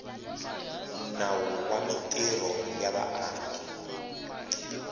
nawu wa mintirho ya vaaki